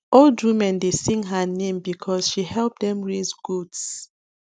old women dey sing her name because she help dem raise goats